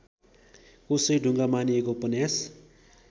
कोशेढुगां मानिएको उपन्यास